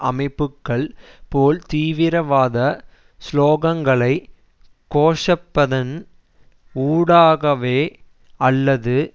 அமைப்புக்கள் போல் தீவிரவாத சுலோகங்களை கோஷப்பதன் ஊடாகவோ அல்லது